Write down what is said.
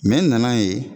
n nana ye